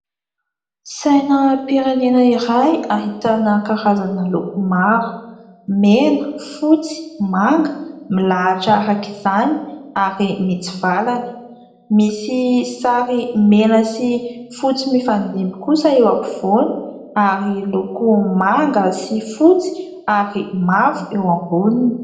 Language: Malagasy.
Sainam-pirenena iray ahitana karazana loko maro : mena, fotsy, manga milahitra araka izany ary mitsivalana. Misy sary mena sy fotsy mifandimby kosa eo ampovoany ary loko manga sy fotsy ary mavo eo amboniny.